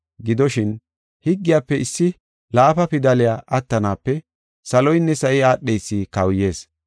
Gidoshin, higgiyafe issi laafa pidaley attanaape saloynne sa7i aadheysi kawuyees.